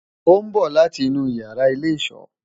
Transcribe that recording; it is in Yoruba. o n bo lati inu iyara ile-iso